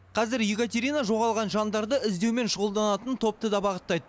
қазір екатерина жоғалған жандарды іздеумен шұғылданатын топты да бағыттайды